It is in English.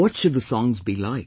What should the songs be like